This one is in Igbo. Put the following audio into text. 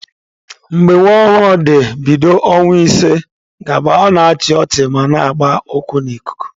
Mgbe nwa ọhụrụ dị bido ọnwa ise gaba, ọ na-achị ọchị ma na-agba ụkwụ n'ikuku.